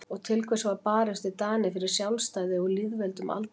Og til hvers var barist við Dani fyrir sjálfstæði og lýðveldi um aldaraðir?